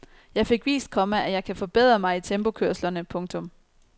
Jeg fik vist, komma at jeg kan forbedre mig i tempokørslerne. punktum